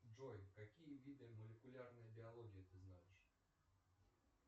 джой какие виды молекулярной биологии ты знаешь